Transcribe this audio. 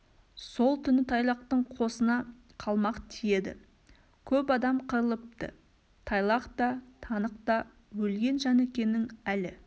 сол түні тайлақтың қосына қалмақ тиеді көп адам қырылыпты тайлақ та танық та өлген жәнікенің әлі